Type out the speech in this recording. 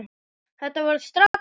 Þetta varð strax betra.